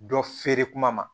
Dɔ feere kuma ma